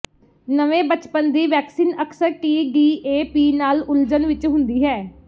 ਨਵੇਂ ਬਚਪਨ ਦੀ ਵੈਕਸੀਨ ਅਕਸਰ ਟੀ ਡੀ ਏ ਪੀ ਨਾਲ ਉਲਝਣ ਵਿਚ ਹੁੰਦੀ ਹੈ